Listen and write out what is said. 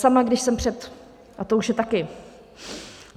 Sama, když jsem před... a to už je taky...